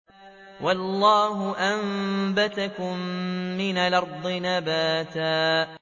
وَاللَّهُ أَنبَتَكُم مِّنَ الْأَرْضِ نَبَاتًا